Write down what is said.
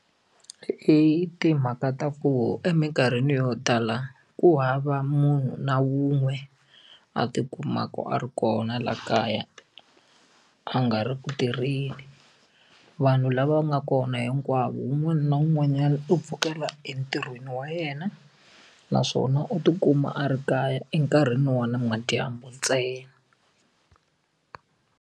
I timhaka ta ku emikarhini yo tala ku hava munhu na wun'we a tikumaka a ri kona la kaya a nga ri ku tirheni vanhu lava nga kona hinkwavo wun'wana na wun'wanyana u pfukela entirhweni wa yena naswona u tikuma a ri kaya enkarhini wa namadyambu ntsena.